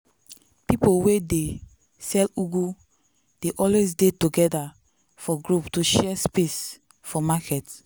people wey they sell ugu dey always dey together for group to share space for market.